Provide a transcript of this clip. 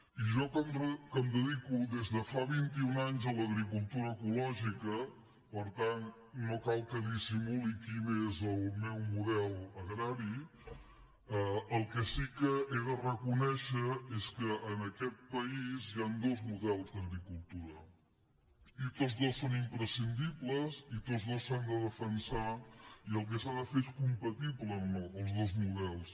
i jo que em dedico des de fa vint i un anys a l’agricultura ecològica per tant no cal que dissimuli quin és el meu model agrari el que sí que he de reconèixer és que en aquest país hi han dos models d’agricultura i tots dos són imprescindibles i tots dos s’han de defensar i el que s’ha de fer és fer compatibles els dos models